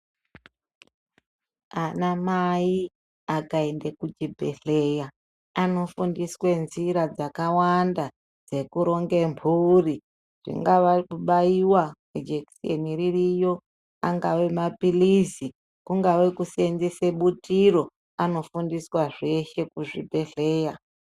Ana mai akaenda kuchibhedhlera anofundiswa nzira dzakawanda dzekuronga mburi kungava kubaiwa nejekiseni ririyo angave mapirizi kungava kusevenzesa butiro vanosevenzeswa zveshe muzvibhedhlera.